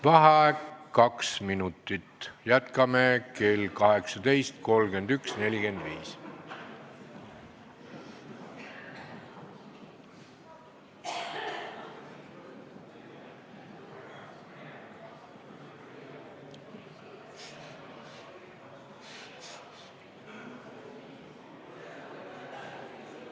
Vaheaeg kaks minutit, jätkame kell 18.31.45.